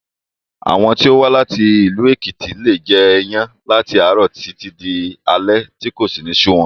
Àwọn tó wá láti ìlú Èkìtì leè jẹ iyán láti àárọ̀ títí di alé tí kò sì ní sú wọn